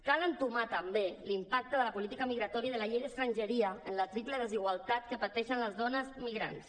cal entomar també l’impacte de la política migratòria de la llei d’estrangeria en la triple desigualtat que pateixen les dones migrants